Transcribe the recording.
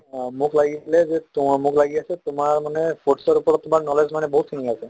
আহ মোক লাগিছিলে যে তোমাৰ মোক লাগি আছে তোমাৰ মানে foods ৰ ওপৰত তোমাৰ knowledge মানে বহুত খিনি আছে